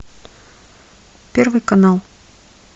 первый канал